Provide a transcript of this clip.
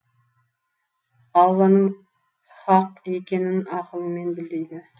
алланың хаһ екенін ақылыңмен біл дейді